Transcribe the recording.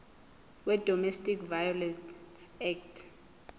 wedomestic violence act